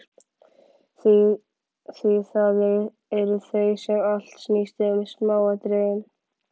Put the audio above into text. Því það eru þau sem allt snýst um: smáatriðin.